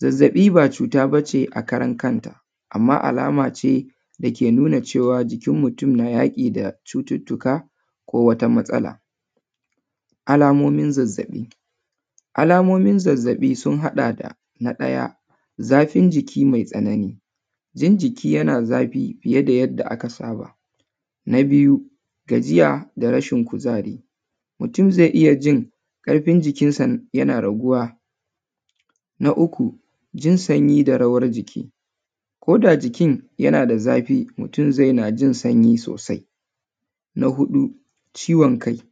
Zazzaɓi ba cuta ba ce a karan kanta, amma alama ce da ke nuna cewa jikin mutum na yaƙi da cututtuka ko wata matsala. Alamomin zazzaɓi: alamomin zazzaɓi sun haɗa da: na ɗaya, zafin jiki mai tsanani, jin jiki yana zafi fiye da yadda aka saba. Na biyu, gajiya da rashin kuzari, mutum zai iya jin ƙarfin jikinsa yana raguwa. Na uku, jin sanyi da rawar jiki, ko da jikin yana da zafi, mutum zai na jin sanyi sosai. Na huɗu, ciwon kai,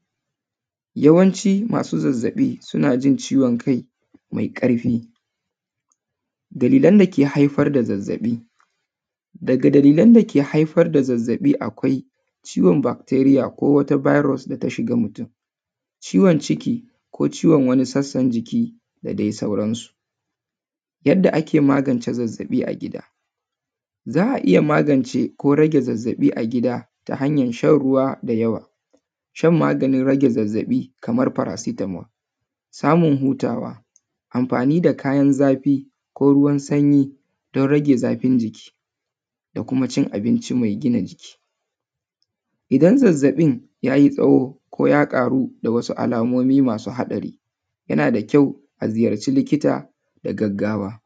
yawanci masu zazzaɓi suna jin ciwon kai mai ƙarfi. Dalilan da ke haifar da zazzaɓi: daga dalilan da ke haifar da zazzaɓi akwai ciwon bacteria ko wata virus da ta shiga mutum. Ciwon ciki ko ciwon wani sassan jiki da dai sauransu. Yadda ake magance zazzaɓi a gida: za a iya magance ko rage zazzaɓi a gida ta hanyar shan ruwa da yawa, shan maganin rage zazzaɓi kamar paracetamol, samun hutawa, amfanin da kayan zafi ko ruwan sanyi don rage zafin jiki da kuma cin abinci mai gina jiki. Idan zazzaɓin ya yi tsawo ko ya ƙaru da wasu alamomi masu haɗari, yana da kyau a ziyarci likita da gaggawa.